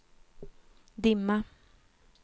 dimma